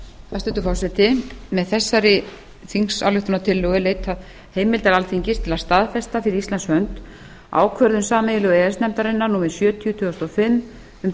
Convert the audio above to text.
hæstvirtur forseti með þessari þingsályktunartillögu er leitað heimildar alþingis til að staðfesta fyrir íslands hönd ákvörðun sameiginlegu e e s nefndarinnar númer sjötíu tvö þúsund og fimm um